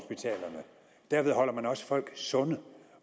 derved holder man også folk sunde